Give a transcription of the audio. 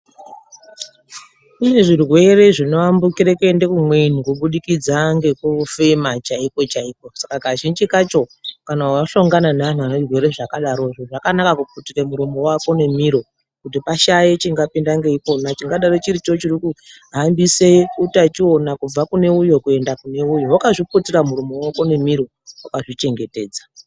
Kune zvirwere zvinoambukire kuende kumweni kubudikidza ngekufema chaiko chaiko saka Kazhinji kacho kana wathongana neanhu ane zvirwere izvona zvakana kuputire muromo wako nemiro kuti pashaye chingapinda ngeipona chingadaro chiricho chirikuhambise utachiona kubva kune uyo kuenda kune uyo. Wakazviputire muromo wako nemiro wakazvichengetedza.